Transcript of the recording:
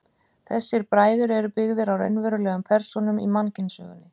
Þessir bræður eru byggðir á raunverulegum persónum í mannkynssögunni.